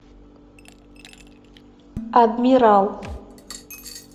адмирал